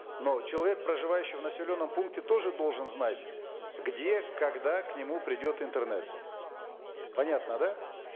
но человек проживающий в населенном пункте тоже должен знать где когда к нему придет интернет понятно да